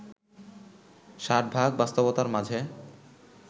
ষাটভাগ বাস্তবতার মাঝে